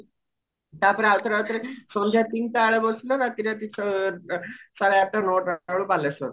ତାପରେ ଆଉ ଥରେ ଆଉ ଥରେ ସନ୍ଧ୍ୟା ତିନିଟା ବେଳେ ବସିଲ ରାତି ରାତି ଛ ସାଢେ ଆଠଟା ନଅଟା ବେଳକୁ ବାଲେଶ୍ଵର